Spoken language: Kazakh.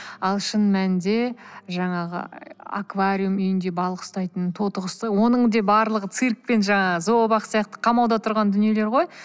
ал шын мәнінде жаңағы аквариум ы үйінде балық ұстайтын тотықұсты оның де барлығы циркпен жаңағы зообақ сияқты қамауда тұрған дүниелер ғой